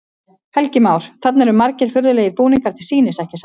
Helgi Már: Þarna eru margir furðulegir búningar til sýnis, ekki satt?